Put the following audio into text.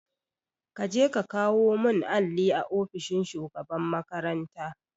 Kaje ka kawo mun alli a ofishin shugaban makaranta